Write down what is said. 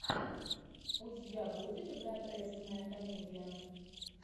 у тебя будет гротескная комедия